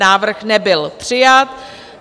Návrh nebyl přijat.